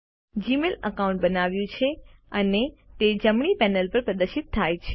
Gmail account બનાવ્યું છે અને તે જમણી પેનલ પર પ્રદર્શિત થાય છે